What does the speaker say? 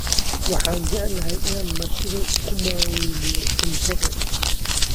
Waxaan jeclahay in aan martida ku maaweeliyo cunto.